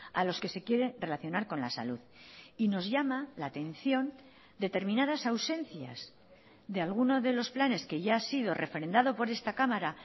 a los que se quiere relacionar con la salud y nos llama la atención determinadas ausencias de alguno de los planes que ya ha sido refrendado por esta cámara